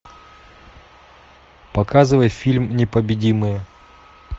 показывай фильм непобедимые